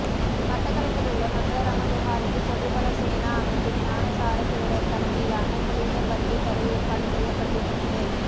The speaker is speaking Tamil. மட்டக்களப்பிலுள்ள மங்களராம விஹாரைக்கு பொதுபல சேனா அமைப்பின் ஞானசார தேரர் தலைமையிலான குழுவினர் வருகை தர ஏற்பாடு செய்யப்பட்டிருந்தது